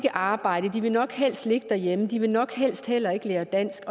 arbejde de vil nok helst ligge derhjemme og de vil nok helst heller ikke lære dansk